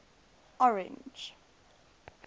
orange